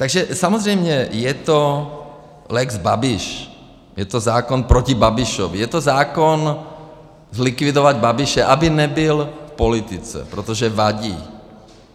Takže samozřejmě je to lex Babiš, je to zákon proti Babišovi, je to zákon zlikvidovat Babiše, aby nebyl v politice, protože vadí.